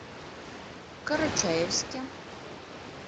карачаевске